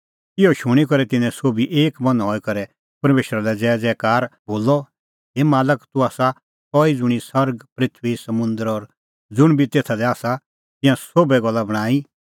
इहअ शूणीं करै तिन्नैं सोभी एक मन हई करै परमेशरा लै ज़ोरैज़ोरै बोलअ हे मालक तूह आसा सह ई ज़ुंणी सरग पृथूई समुंदर और ज़ुंण बी तेथ दी आसा तिंयां सोभै गल्ला बणांईं